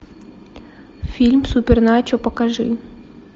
фильм суперначо покажи